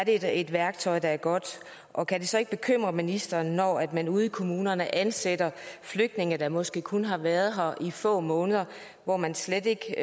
et værktøj der er godt og kan det så ikke bekymre ministeren når man ude i kommunerne ansætter flygtninge der måske kun har været her i få måneder og man slet ikke